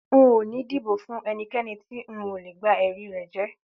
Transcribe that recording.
N ò ní dìbò fún e̩niké̩ni ti n ò lè gba e̩rí rè̩ jé̩